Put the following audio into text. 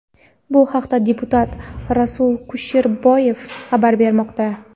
Bu haqda deputat Rasul Kusherboyev xabar bermoqda.